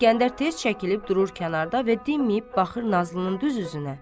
İskəndər tez çəkilib durur kənarda və dinməyib baxır Nazlının düz üzünə.